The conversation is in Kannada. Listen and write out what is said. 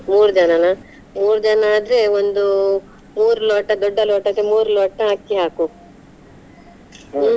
ಮೂರ್ ಜನನಾ, ಮೂರ್ ಜನಾ ಆದ್ರೆ ಒಂದು ಮೂರು ಲೋಟ ದೊಡ್ಡ ಲೋಟಕ್ಕೆ ಮೂರು ಲೋಟ ಅಕ್ಕಿ ಹಾಕು, ಹ್ಮ್.